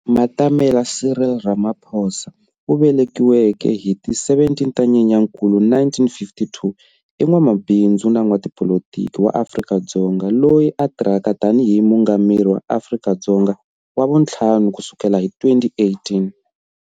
Matamela Cyril Ramaphosa, u velekiweke hi ti 17 ta Nyenyankulu 1952, i n'wamabindzu na n'watipolitiki wa Afrika-Dzonga loyi a tirhaka tani hi mungameri wa Afrika-Dzonga wa vu 5 kusukela hi 2018.